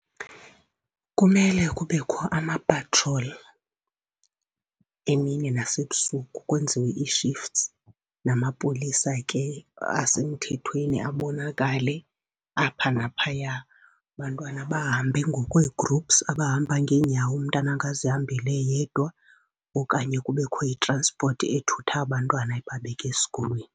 Kumele kubekho ama-patrol emini nasebusuku, kwenziwe ii-shifts, namapolisa ke asemthethweni abonakale apha naphaya. Abantwana bahambe ngokwe-groups, abahamba ngeenyawo, umntana angazihambeli yedwa okanye kubekho i-transport ethutha abantwana ibabeke esikolweni.